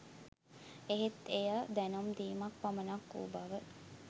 එහෙත් එය දැනුම් දීමක් පමණක් වූ බව